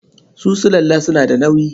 Su sulalla suna da nauyi.